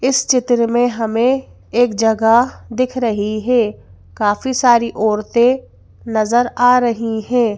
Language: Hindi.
इस चित्र में हमें एक जगह दिख रही है काफी सारी औरतें नजर आ रही हैं।